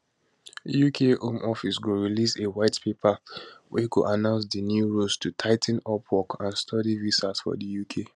uk home office go release a white paper wey goannounce di new rules to tigh ten upwork and study visas for di uk